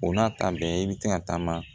O n'a ta bɛɛ i bɛ se ka taama